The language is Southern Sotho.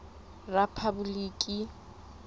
rephaboliki